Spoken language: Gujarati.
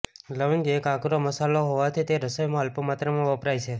લવિંગ એક આકરો મસાલો હોવાથી તે રસોઈમાં અલ્પ માત્રામાં વપરાય છે